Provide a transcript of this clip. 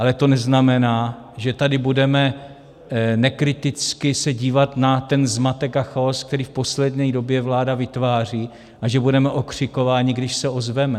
Ale to neznamená, že tady budeme nekriticky se dívat na ten zmatek a chaos, který v poslední době vláda vytváří, a že budeme okřikováni, když se ozveme.